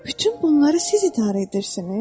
Bütün bunları siz idarə edirsiniz?